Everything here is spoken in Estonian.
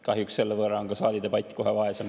Kahjuks on selle võrra ka saalidebatt kohe vaesem.